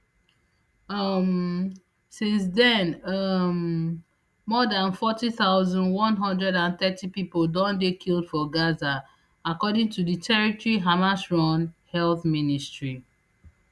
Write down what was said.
um since den um more dan forty thousand, one hundred and thirty pipo don dey killed for gaza according to di territory hamasrun health ministry